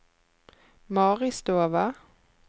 Maristova